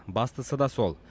бастысы да сол